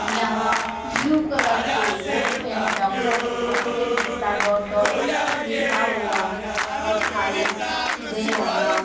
यहां blue colour के board पे doctor Rakesh Gupta dot dot लिखा हुआ दिखाई दे रहा--